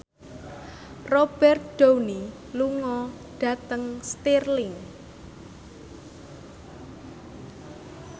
Robert Downey lunga dhateng Stirling